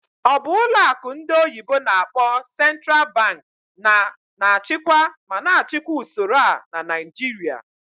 Ọ bụ ụlọ akụ ndị oyibo n'akpọ "Central Bank" na na-achịkwa ma na-achịkwa usoro a na Naịjirịa?